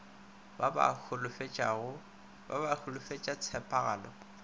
ba ba ba holofetša tshepagalo